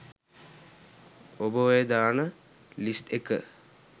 ඔබ ඔය දාන ලිස්ට් එක